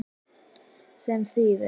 Sem þýðir